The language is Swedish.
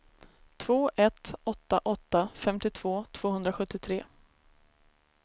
två ett åtta åtta femtiotvå tvåhundrasjuttiotre